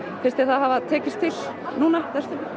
finnst þér það hafa tekist til núna